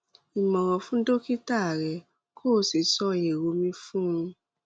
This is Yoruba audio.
ìmòràn fún dókítà rẹ kó o sì sọ èrò mi fún un